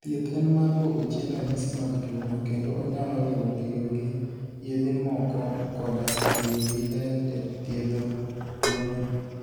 Thieth en mar duoko chien ranyisi mag tuwono kendo onyalo riwo tiyo gi yedhe moko koda tiyo gi ler e thiedho tuwono.